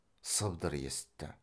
сыбдыр есітті